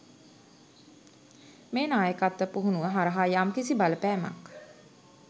මේ නායකත්ව පුහුණුව හරහා යම් කිසි බලපෑමක්